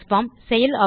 transform